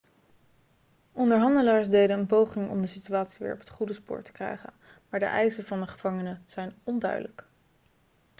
onderhandelaars deden een poging om de situatie weer op het goede spoor te krijgen maar de eisen van de gevangenen zijn onduidelijk